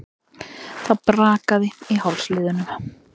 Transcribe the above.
Það brakaði í hálsliðunum.